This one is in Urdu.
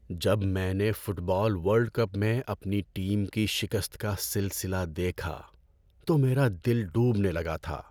جب میں نے فٹ بال ورلڈ کپ میں اپنی ٹیم کی شکست کا سلسلہ دیکھا تو میرا دل ڈوبنے لگا تھا۔